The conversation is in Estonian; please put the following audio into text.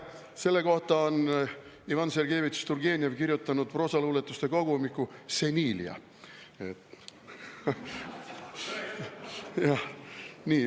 Selle kohta on Ivan Sergejevitš Turgenev kirjutanud proosaluuletuste kogumiku "Senilia".